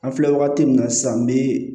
An filɛ wagati min na sisan bi